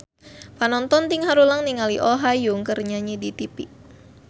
Panonton ting haruleng ningali Oh Ha Young keur nyanyi di tipi